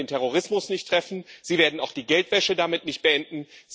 Sie werden den Terrorismus nicht treffen, Sie werden auch die Geldwäsche damit nicht beenden.